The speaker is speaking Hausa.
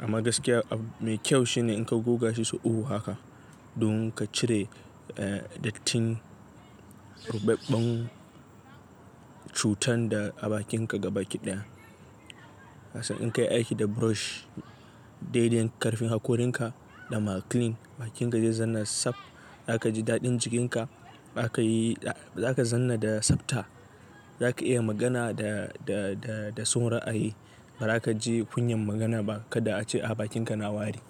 Amma gaskiya ab-mai kyau shine in ka goga shi so uku haka, don ka cire, eh, dattin rubbaben cutan da a bakinka gaba ki daya. In ka yi aiki da brush daidain karfin hakorinka da maclean bakinka zai zanna saf. Zaka ji daɗin jikinka. Bakayi, za ka zanna da tsabta. Zaka iya magana da, da, da, da son ra'ayi. Ba za ka ji kunyan magana ba kada a ce a bakinka na wari.